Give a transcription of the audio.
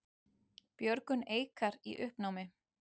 Björgun Eikar í uppnámi